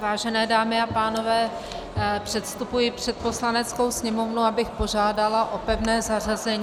Vážené dámy a pánové, předstupuji před Poslaneckou sněmovnu, abych požádala o pevné zařazení -